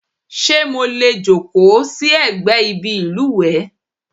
Ṣé mo lè jókòó sí ẹ̀gbẹ́ ibi ìlùwẹ̀?